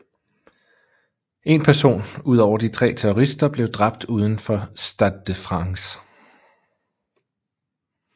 En person ud over de tre terrorister blev dræbt udenfor Stade de France